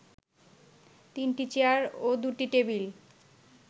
তিনটি চেয়ার ও দু’টি টেবিল